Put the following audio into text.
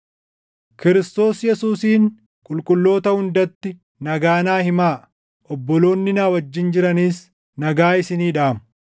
Kiristoos Yesuusiin qulqulloota hundatti nagaa naa himaa. Obboloonni na wajjin jiranis nagaa isinii dhaamu.